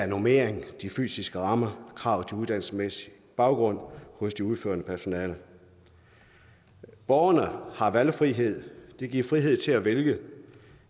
normering fysiske rammer krav til uddannelsesmæssig baggrund hos det udførende personale borgerne har valgfrihed det giver frihed til at vælge